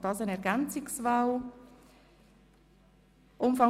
Thomas Gerber mit 112 Stimmen